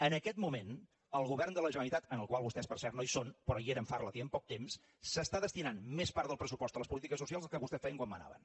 en aquest moment el govern de la generalitat en el qual vostès per cert no hi són però hi eren fa relativament poc temps està destinant més part del pressupost a les polítiques socials del que vostès feien quan manaven